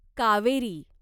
Kaveri